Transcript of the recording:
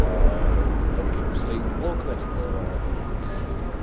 стоит блок значит на этом